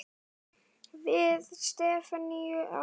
Við stefnum hátt.